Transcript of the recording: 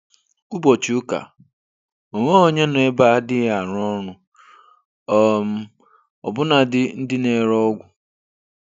Ụbọchị Ụka, Onweghi onye nọ ebeaa adịghị arụ ọrụ, um ọbụna dị ndị na ere ọgwụ